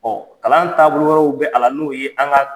Ɔ kalan taabolo wɛrɛraww bɛ ala n'o ye an ka